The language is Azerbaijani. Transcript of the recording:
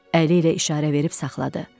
Əli ilə işarə verib saxladı.